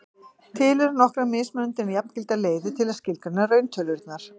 til eru nokkrar mismunandi en jafngildar leiðir til að skilgreina rauntölurnar